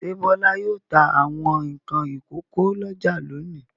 Ṣé Bọ́lá yóò ta àwọn nǹkan ìkókó lọ́jà lónìí?